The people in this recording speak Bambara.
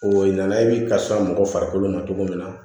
O nana i bi kasa mɔgɔ farikolo ma cogo min na